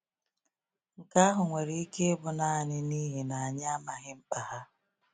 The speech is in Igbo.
Nke ahụ nwere ike ịbụ nanị n’ihi na anyị amaghị mkpa ha.